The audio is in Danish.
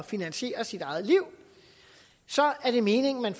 finansiere sit eget liv så er det meningen at